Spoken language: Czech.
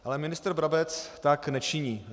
Ale ministr Brabec tak nečiní.